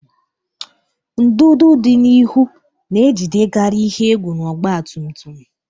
Ndụdụ dị n'ihu na-ejidekarị ihe egwu n'ọgba tum tum.